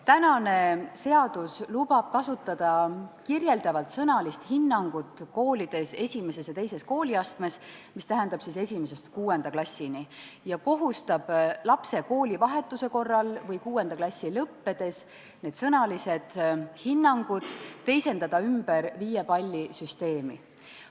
Praegune seadus lubab kasutada kirjeldavalt sõnalist hinnangut 1. ja 2. kooliastmes, mis tähendab siis 1.–6. klassini, ja kohustab lapse koolivahetuse korral või 6. klassi lõppedes need sõnalised hinnangud teisendama ümber viiepallisüsteemi.